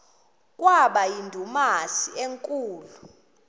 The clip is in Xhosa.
kwaba yindumasi enkulu